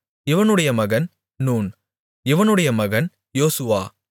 இவனுடைய மகன் நூன் இவனுடைய மகன் யோசுவா